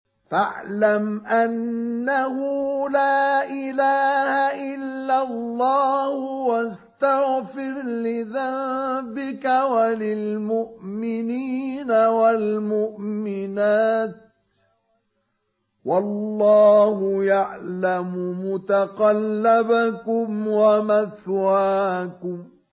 فَاعْلَمْ أَنَّهُ لَا إِلَٰهَ إِلَّا اللَّهُ وَاسْتَغْفِرْ لِذَنبِكَ وَلِلْمُؤْمِنِينَ وَالْمُؤْمِنَاتِ ۗ وَاللَّهُ يَعْلَمُ مُتَقَلَّبَكُمْ وَمَثْوَاكُمْ